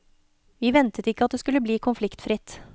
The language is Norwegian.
Vi ventet ikke at det skulle bli konfliktfritt.